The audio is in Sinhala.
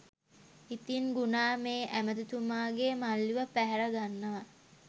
ඉතින් ගුනා මේ ඇමතිතුමාගේ මල්ලිව පැහැරගන්නවා